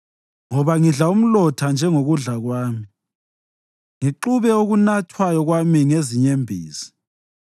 Ngoba ngidla umlotha njengokudla kwami, ngixube okunathwayo kwami ngezinyembezi